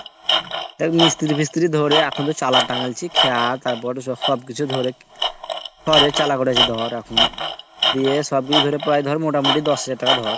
ওই মিস্ত্রি টিস্ট্রি ধারে এখন তো চালা টাঙাইছি খেয়া তারপরে সব সবকিছু ধরে তোর ঘরে চালা করাইছে ধর দিয়ে বা মিলিয়ে ধর প্রায় ধর মোটামুটি দশ হাজার টাকা ধর